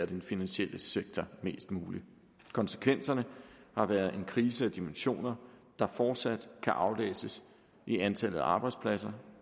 den finansielle sektor mest muligt konsekvenserne har været en krise af dimensioner der fortsat kan aflæses i antallet af arbejdspladser